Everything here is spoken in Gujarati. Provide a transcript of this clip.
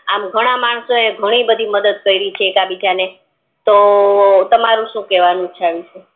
આમ ઘણા માણસો ઈ ઘણી બધી મદદ કરી છે એક બીજા ને તો ઘણા માણસો ઈ ઘણી બધી મદદ કરી છે એક બીજા ને તો તમારું સુ કેવું છે એમ